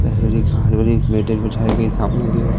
बिछाई गई सामने की ओर।